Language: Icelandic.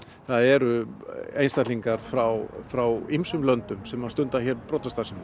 það eru einstaklingar frá frá ýmsum löndum sem stunda hér brotastarfsemi